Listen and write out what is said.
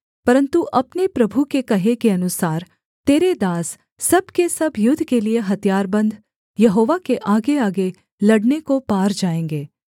परन्तु अपने प्रभु के कहे के अनुसार तेरे दास सब के सब युद्ध के लिये हथियारबन्द यहोवा के आगेआगे लड़ने को पार जाएँगे